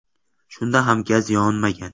Shunda ham gaz yonmagan.